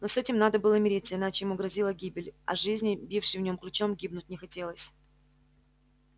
но с этим надо было мириться иначе ему грозила гибель а жизни бившей в нем ключом гибнуть не хотелось